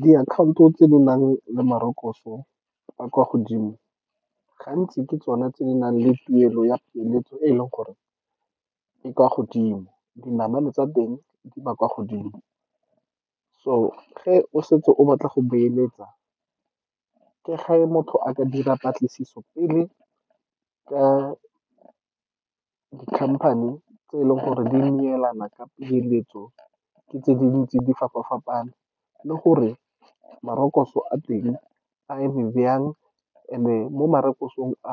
Di akhaonto tse di nang le morokotso o kwa godimo, gantsi ke tsone tse di nang le tuelo ya peeletso e leng gore e kwa godimo. Dinamane tsa teng di ba kwa godimo. So, ge o setse o batla go beeletsa, ke ge motho a ka dira patlisiso pele ka dikhamphani tse e leng gore di neelana ka peeletso. Ke tse di ntsi di fapa-fapane, le gore morokotso a teng a eme bjang and-e mo